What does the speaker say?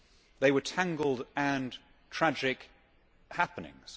They were tangled and tragic happenings.